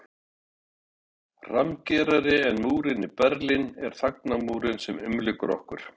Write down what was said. Rammgerari en múrinn í Berlín er þagnarmúrinn sem umlykur okkur